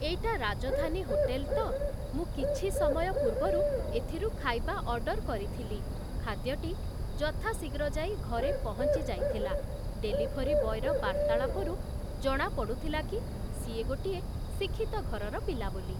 ଏଇଟା ରାଜଧାନୀ ହୋଟେଲ୍‌ ତ ମୁଁ କିଛି ସମୟ ପୂର୍ବରୁ ଏଥିରୁ ଖାଇବା ଅର୍ଡ଼ର କରିଥିଲି ଖାଦ୍ୟଟି ଯଥାଶୀଘ୍ର ଯାଇ ଘରେ ପହଞ୍ଚି ଯାଇଥିଲା ଡେଲିଭରୀ ବୟର ବାର୍ତ୍ତାଳପରୁ ଜଣାପଡ଼ୁଥିଲା କି ସିଏ ଗୋଟିଏ ଶିକ୍ଷିତ ଘରର ପିଲା ବୋଲି